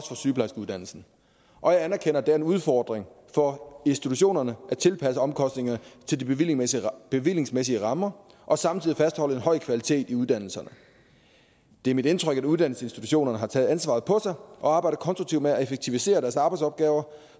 for sygeplejerskeuddannelsen og jeg anerkender at det er en udfordring for institutionerne at tilpasse omkostningerne til de bevillingsmæssige bevillingsmæssige rammer og samtidig fastholde en høj kvalitet i uddannelserne det er mit indtryk at uddannelsesinstitutionerne har taget ansvaret på sig og arbejder konstruktivt med at effektivisere deres arbejdsopgaver